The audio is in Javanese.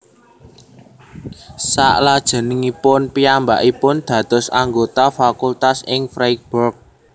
Salajengipun piyambakipun dados anggota fakultas ing Freiburg